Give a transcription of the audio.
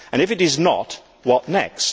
If it is not, what next?